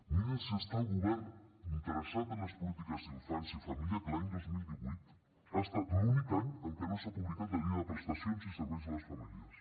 mirin si està el govern interessat en les polítiques d’infància i família que l’any dos mil divuit ha estat l’únic any en què no s’ha publicat la guia de prestacions i serveis a les famílies